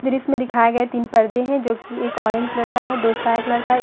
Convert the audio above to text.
फिर इसमें दिखाई गए है तीन पर्दे हैं जो कि एक ऑरेंज कलर का है दो स्काई कलर का है।